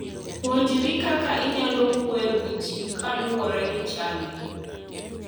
Puonjri kaka inyalo wuoyo gi ji kaluwore gi chalgi.